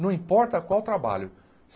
Não importa qual trabalho.